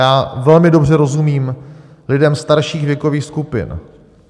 Já velmi dobře rozumím lidem starších věkových skupin.